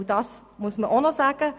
Und das muss man auch noch sagen: